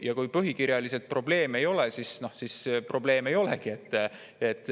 Kui põhikirjaliselt probleeme ei ole, siis probleeme ei olegi.